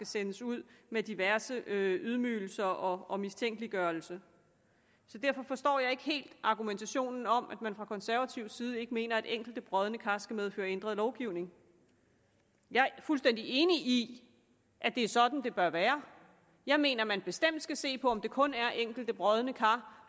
sendes ud med diverse ydmygelser og mistænkeliggørelse derfor forstår jeg ikke helt argumentationen om at man fra konservativ side ikke mener at enkelte brodne kar skal medføre ændret lovgivning jeg er fuldstændig enig i at det er sådan det bør være jeg mener man bestemt skal se på om det kun er enkelte brodne kar